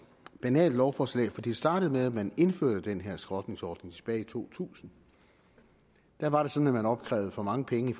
banalt lovforslag for det startede med at man indførte den her skrotningsordning tilbage i to tusind der var det sådan at man opkrævede for mange penge i